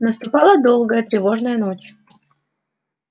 наступала долгая тревожная ночь